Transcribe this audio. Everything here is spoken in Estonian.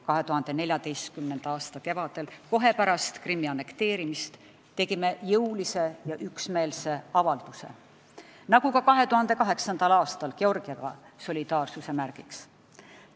2014. aasta kevadel, kohe pärast Krimmi annekteerimist tegime jõulise ja üksmeelse avalduse, nagu ka 2008. aastal Georgiaga solidaarsuse märgiks.